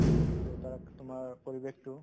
to তাত তোমাৰ পৰিৱেশতো